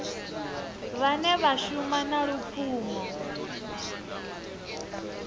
vhane vha shuma na lupfumo